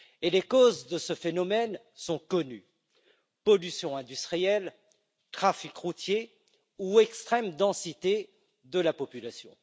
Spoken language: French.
Les causes de ce phénomène sont connues pollution industrielle, trafic routier ou extrême densité de la population.